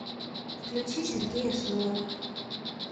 включи сергея шнурова